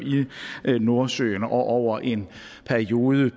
nordsøen over en periode